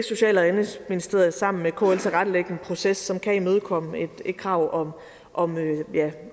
social og indenrigsministeriet sammen med kl vil tilrettelægge en proces som kan imødekomme et krav om